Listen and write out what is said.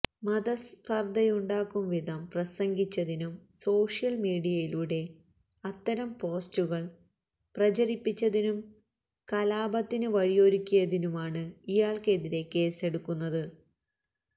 മതസ്പർധയുണ്ടാക്കും വിധം പ്രസംഗിച്ചതിനും സോഷ്യൽ മീഡിയയിലൂടെ അത്തരം പോസ്റ്റുകൾ പ്രചരിപ്പിച്ചതിനും കലാപത്തിന് വഴിയൊരുക്കിയതിനുമാണ് ഇയാൾക്കെതിരെ കേസ്സെടുത്തത്